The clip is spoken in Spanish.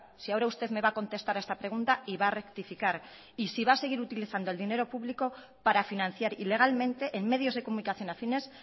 si ahora usted me va a contestar a esta pregunta y va a rectificar y si va a seguir utilizando el dinero público para financiar ilegalmente en medios de comunicación afines